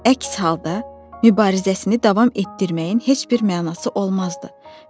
Əks halda, mübarizəsini davam etdirməyin heç bir mənası olmazdı.